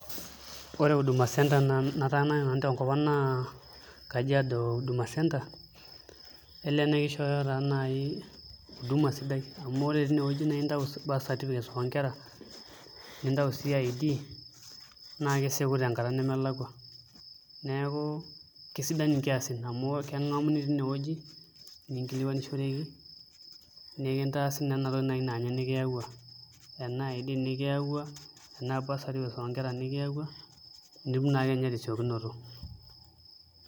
Ore huduma centre nataaniki nanu tenkop ang' naa Kajiado Huduma Centre elee naa kishooyo taa naai huduma sidai amu ore tinewuei naa intau birth certificate oo nkera nintayu sii ID naa kesieku tenkata nemelakua neeku kesidan nkiasin amu keking'amuni tinewueji nikinkilikuanishoreki nikintaasa naa ina toki naa ninye nikiyaua enaa ID nikiyaua enaa birth certificate oonkera nikiyaua nitum akeenye tesiokinoto.